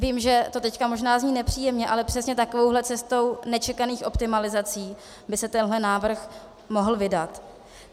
Vím, že to teď zní možná nepříjemně, ale přesně takovouhle cestou nečekaných optimalizací by se tenhle návrh mohl vydat.